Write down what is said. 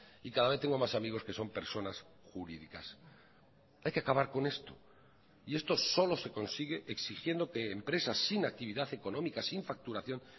y cada vez tengo más amigos que son personas jurídicas hay que acabar con esto y esto solo se consigue exigiendo que empresas sin actividad económica sin facturación